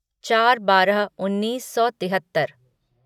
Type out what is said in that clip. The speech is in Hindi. चार बारह उन्नीस सौ तिहत्तर